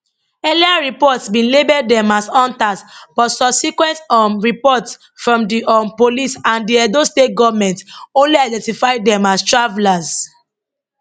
earlier reports bin label dem as hunters but subsequent um reports from di um police and di edo state goment only identify dem as travellers